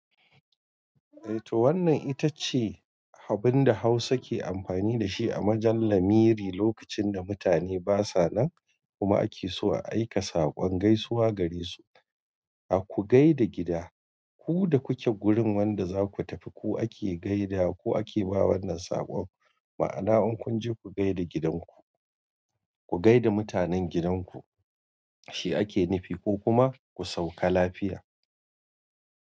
Eh to wannan ita ce abin da Hausa ke amfani da shi a majal lamiri lokacin da mutane basa nan kuma ake so a aika saƙon gaisuwa gare su. A ku gaida gida, ku da kuke gurin wanda zaku tafi ku ake gaida ko ake ba wannan saƙon. Ma'ana in kunje ku gaida gidanku, ku gaida mutanen gidanku shi ake nufi ko kuma ku sauka lafiya.